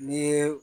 N'i ye